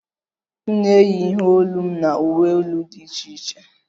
M na-eyi ihe olu m na uwe elu di iche iche